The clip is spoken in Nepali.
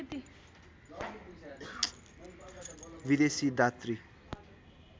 विदेशी दातृ